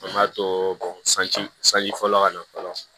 An b'a to sanji sanji fɔlɔ ka na fɔlɔ